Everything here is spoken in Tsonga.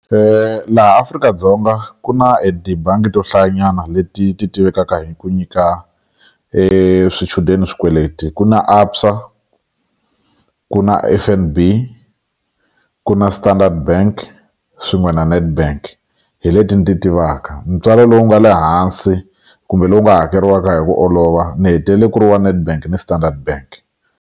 laha Afrika-Dzonga ku na e tibangi to hlayanyana leti ti tivekaka hi ku nyika swichudeni swikweleti ku na ABSA ku na F_N_B ku na Standard Bank swin'we na Nedbank hi leti ni ti tivaka ntswalo lowu nga le hansi kumbe lowu nga hakeriwaka hi ku olova ni hetelele ku ri wa Nedbank ni Standard bank.